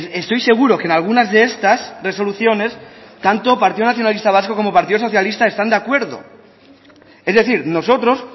estoy seguro que en algunas de estas resoluciones tanto partido nacionalista vasco como el partido socialista están de acuerdo es decir nosotros